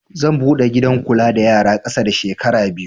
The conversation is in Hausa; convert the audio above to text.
Zan buɗe gidan kula da yara ƙasa da shekara biyar